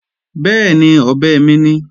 Bẹ́ẹ̀ni, ọ̀bẹ mi ni